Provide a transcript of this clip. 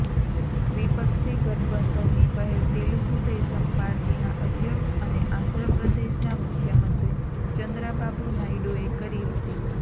વિપક્ષી ગઠબંધનની પહેલ તેલુગુદેશમ પાર્ટીના અધ્યક્ષ અને આંધ્રપ્રદેશના મુખ્યમંત્રી ચંદ્રાબાબુ નાયડુએ કરી હતી